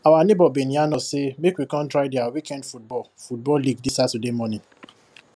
our neighbor been yarn us say make we come try their weekend football football league this saturday morning